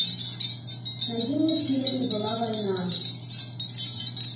найди мне фильм и была война